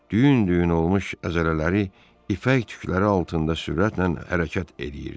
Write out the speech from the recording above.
Düyün-düyün olmuş əzələləri ipək tükləri altında sürətlə hərəkət eləyirdi.